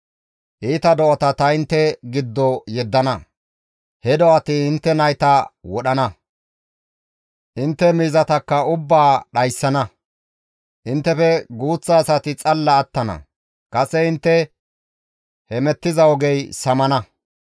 Iita do7ata ta intte giddo yeddana; he do7ati intte nayta wadhdhana; intte miizatakka ubbaa dhayssana; inttefe guuththa asati xalla attana; kase intte hemettiza ogey samana.